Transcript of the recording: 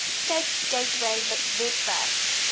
cape gateway webwerf